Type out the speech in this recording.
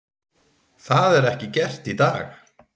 Það er ekki gert í dag!